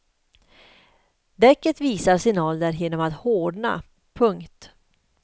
Däcket visar sin ålder genom att hårdna. punkt